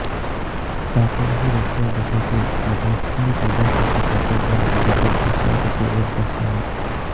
तातर ही रशिया देशातील तातरस्तान प्रजासत्ताकाच्या दोन अधिकृत भाषांपैकी एक भाषा आहे